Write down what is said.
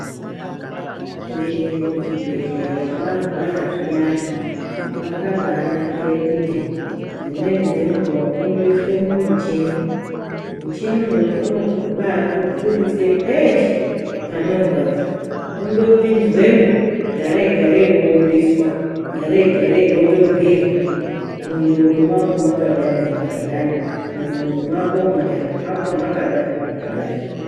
Kuende kuchibhedhlera warwaya zviyani kwakabanakire kuti dzimweni dzenguwa unondoiswe mumuchini , muchini uyu unokubakubudise peshe panorwadza kungopinzwemo garei garei wobudiswa garei garei wotobhirwa , mundxondo mako makadani makadani , mudumbu mwako mundani mwakadani mwakadani.